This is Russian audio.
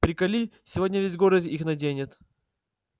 приколи сегодня весь город их наденет